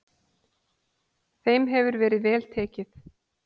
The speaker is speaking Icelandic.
Þeim hefur verið vel tekið.